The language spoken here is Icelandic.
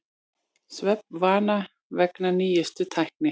Svefnvana vegna nýjustu tækni